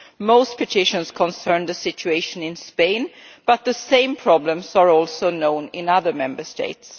Most petitions concern the situation in Spain but the same problems are also known in other Member States.